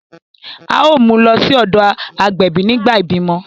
A o mu lọ sí ọdọ agbẹbi nígbà ibimọ